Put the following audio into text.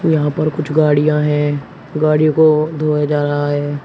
यहां पर कुछ गाड़ियां हैं गाड़ियों को धोया जा रहा है।